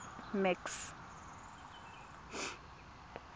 max